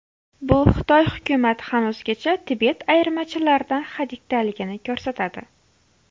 Bu Xitoy hukumati hanuzgacha Tibet ayirmachilaridan hadikdaligini ko‘rsatadi.